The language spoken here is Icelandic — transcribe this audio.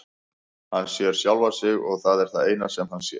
Hann sér sjálfan sig og það er það eina sem hann sér.